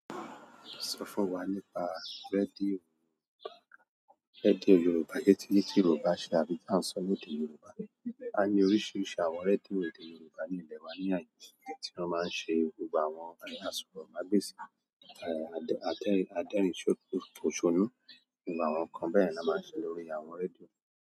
Sọ fún wa nípa radio, radio Yorùbá. Sé tí Yorùbá ṣe àbí bí a ń sọ lèdè Yorùbá. A ní oríṣiríṣi àwọn rédíò èdè Yorùbá ní ilẹ̀ wa ní àyè yìí tí wọ́n máa ń ṣe gbogbo àwọn àsọ̀rọ̀mágbèsì, àdérinposonu. Àwọn nǹkan bẹ́ẹ̀ ni a máa ń se lórí àwọn rédíò.